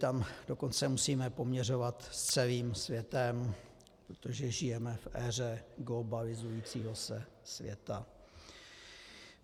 Tam dokonce musíme poměřovat s celým světem, protože žijeme v éře globalizujícího se světa.